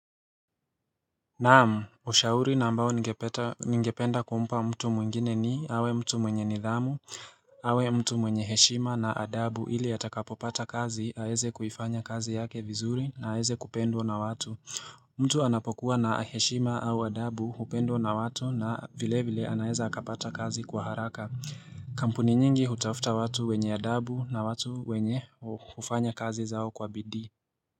Naam, ushauri na ambao ngependa kumpa mtu mwingine ni awe mtu mwenye nidhamu, awe mtu mwenye heshima na adabu ili atakapopata kazi aweze kuifanya kazi yake vizuri na aweze kupendwa na watu. Mtu anapokuwa na heshima au adabu hupendwa na watu na vile vile anaweza akapata kazi kwa haraka. Kampuni nyingi hutafuta watu wenye adabu na watu wenye hufanya kazi zao kwa bidii.